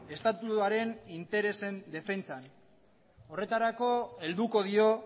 estatuaren interesen defentsan horretarako helduko dio